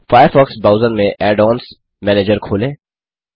Firefox browser में add ons manager खोलें